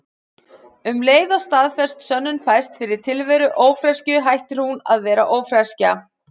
Um leið og staðfest sönnun fæst fyrir tilveru ófreskju hættir hún að vera ófreskja.